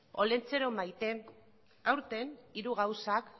olentzero maite aurten hiru gauza